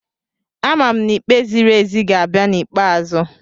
Amam n'ikpe ziri ezi ga-abịa n'ikpeazụ.